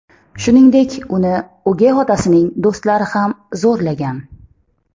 Shuningdek, uni o‘gay otasining do‘stlari ham zo‘rlagan.